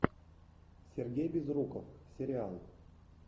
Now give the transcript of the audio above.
сергей безруков сериал